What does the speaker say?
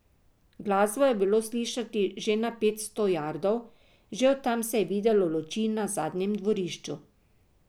Glasbo je bilo slišati že na petsto jardov, že od tam se je videlo luči na zadnjem dvorišču.